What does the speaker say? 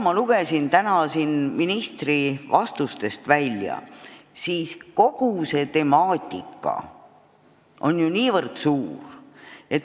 Ma lugesin täna siin ministri vastustest välja, et kogu see temaatika on väga lai.